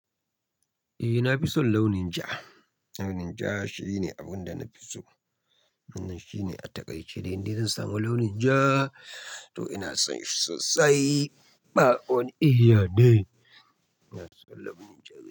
Eh, na fi son launin ja. Launin ja shine abin da na fi so. Wannan shine a taƙaice dai ni zan samu launin ja, to ina son shi sosai. Ba wani eh neh. Ina son launin ja sosai.